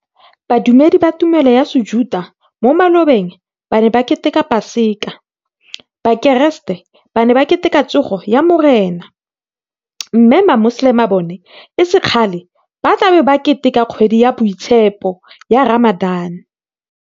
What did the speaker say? Badumedi ba tumelo ya Sejuta mo malobeng ba ne ba keteka Paseka, Bakeresete ba ne ba Keteka Tsogo ya Morena mme Mamoselema bona e se kgale ba tla bo ba ke teka kgwedi ya boitshepo ya Ramadan.